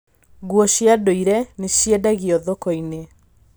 Nguo cia ndũire nĩ ciendagio thoko-inĩ.